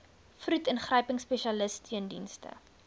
vroed ingryping spesialissteundienste